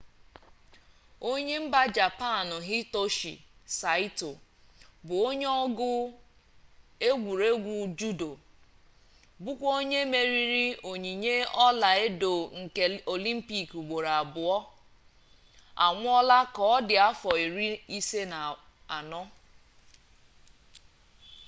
onye mba japan hitoshi saịto bụ onye ọgụ egwuregwu judo bụkwa onye meriri onyinye ọla edo nke olimpik ugboro abụọ anwụọla ka ọ dị afọ iri ise na anọ